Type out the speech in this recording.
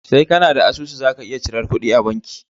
Sai kAna da asusu zaka iya cirar kuɗi a banki